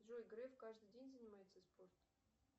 джой греф каждый день занимается спортом